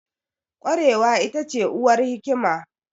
Ƙwarewa ita ce uwar hikima